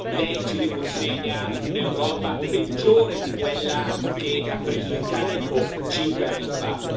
Lei ci riconsegna un'Europa peggiore di quella che ha preso in carico cinque anni fa.